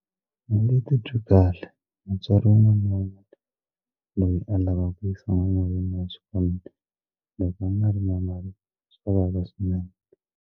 A ni titwi kahle mutswari wun'wana na wun'wana loyi a lavaka ku yisa n'wana wa yena exikolweni loko a nga ri na mali swa vava swinene.